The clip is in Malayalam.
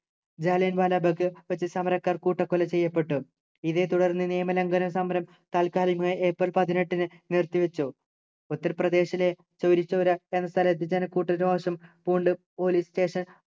ജാലിയൻവാലാബാഗ് വച്ച് സമരക്കാർ കൂട്ടക്കൊല ചെയ്യപ്പെട്ടു ഇതേ തുടർന്ന് നിയമലഘനം സമരം താൽക്കാലികമായി ഏപ്രിൽ പതിനെട്ടിന് നിർത്തി വച്ചു ഉത്തർപ്രദേശിലെ ചൗരി ചൗരാ എന്ന സ്ഥലത്തു ജനക്കൂട്ടം രോഷം പൂണ്ടു police station